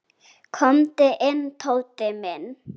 Komdu inn, Tóti minn.